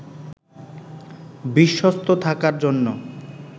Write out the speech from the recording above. বিশ্বস্ত থাকার জন্য